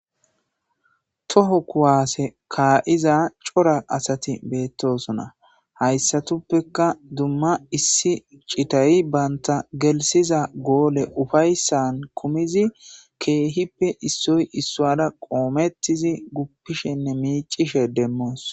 Toho kuwaase kaa'iza cora asati beettosona hayssatuppeka dumma issi citayi banta gelsiza goole ufayssan kumizi keehippe issoy issuada qoomettizi guppishenne miicishe demmoos.